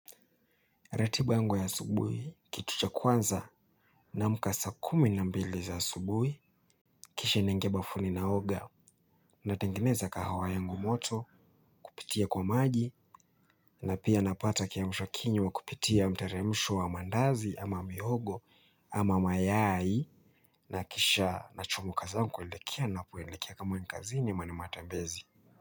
Ratiba yango ya asubuhi kitu cha kwanza naamka saa kumi na mbili za asubuhi kisha naingia bafuni naoga natengeneza kahawa yangu moto kupitia kwa maji na pia napata kiamshwa kinywa kupitia mteremsho wa mandazi ama mihogo ama mayai nakisha nachomoka zangu kuelekea napoelekea kama ni kazini ama ni matembezi.